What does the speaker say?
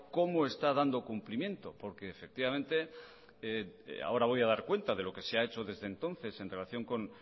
cómo está dando cumplimiento porque ahora voy a dar cuenta de lo que se ha hecho desde entonces en relación con